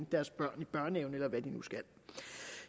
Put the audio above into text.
deres børn i børnehave eller hvad de nu skal